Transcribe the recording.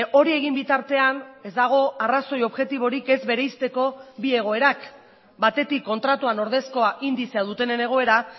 hori egin bitartean ez dago arrazoi objektiborik ez bereizteko bi egoerak batetik kontratuan ordezkoa indizea dutenen egoera